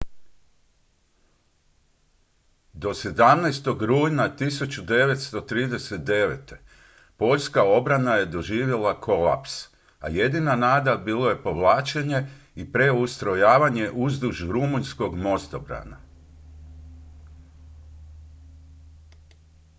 do 17. rujna 1939. poljska obrana je doživjela kolaps a jedina nada bilo je povlačenje i preustrojavanje uzduž rumunjskog mostobrana